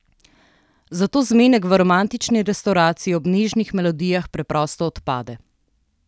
Zato zmenek v romantični restavraciji ob nežnih melodijah preprosto odpade.